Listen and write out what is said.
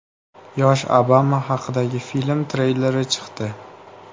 Yosh Obama haqidagi film treyleri chiqdi .